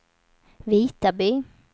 Vitaby